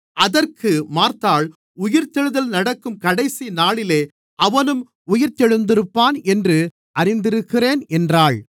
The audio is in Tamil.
அதற்கு மார்த்தாள் உயிர்த்தெழுதல் நடக்கும் கடைசி நாளிலே அவனும் உயிர்த்தெழுந்திருப்பான் என்று அறிந்திருக்கிறேன் என்றாள்